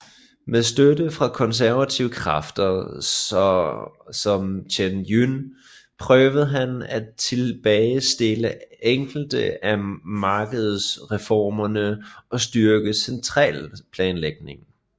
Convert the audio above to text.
Med støtte fra konservative kræfter så som Chen Yun prøvede han at tilbagestille enkelte af markedsreformerne og styrke centralplanlægningen